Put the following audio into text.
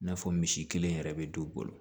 I n'a fɔ misi kelen yɛrɛ bɛ don bolo